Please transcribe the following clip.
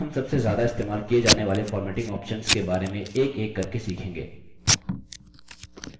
हम सबसे ज्यादा इस्तेमाल किये जाने वाले formatting options के बारे में एकएक करके सीखेंगे